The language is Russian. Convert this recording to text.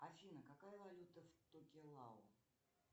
афина какая валюта в токелау